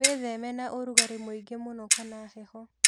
Wĩtheme na ũrugarĩ mũingĩ mũno kana heho.